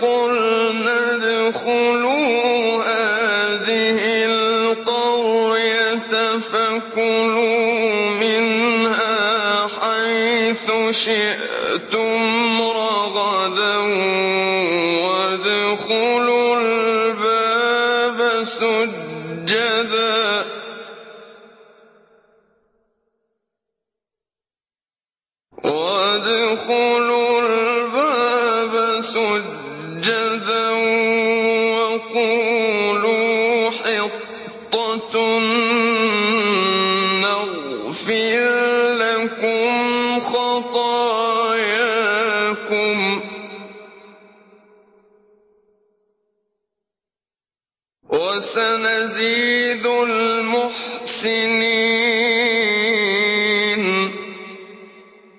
قُلْنَا ادْخُلُوا هَٰذِهِ الْقَرْيَةَ فَكُلُوا مِنْهَا حَيْثُ شِئْتُمْ رَغَدًا وَادْخُلُوا الْبَابَ سُجَّدًا وَقُولُوا حِطَّةٌ نَّغْفِرْ لَكُمْ خَطَايَاكُمْ ۚ وَسَنَزِيدُ الْمُحْسِنِينَ